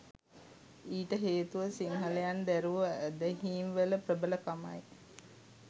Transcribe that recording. ඊට හේතුව සිංහලයන් දැරූ ඇදහීම් වල ප්‍රබලකමයි